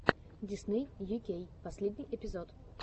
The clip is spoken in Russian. дисней ю кей последний эпизод